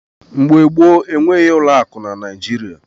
Mgbe gboo, enweghị ụlọakụ na Naịjirịa.